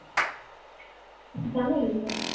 જમી લીધું